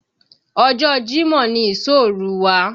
Ọjọ́ Jímọ̀ ni ìsóòrú wa